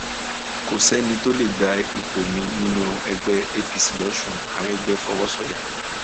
kò sẹni tó lè gba ipò mi nínú ẹgbẹ apc lọsùn aregbe fọwọ sọyà